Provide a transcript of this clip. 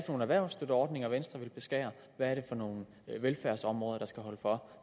nogle erhvervsstøtteordninger venstre vil beskære hvad er det for nogle velfærdsområder der skal holde for